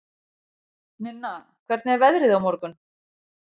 Ninna, hvernig er veðrið á morgun?